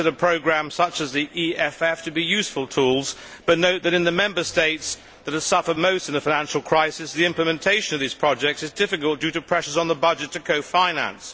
We consider programmes such as the EFF to be useful tools but note that in the Member States that have suffered most in the financial crisis the implementation of these projects is difficult due to pressures on the budget to co finance.